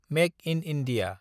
make in India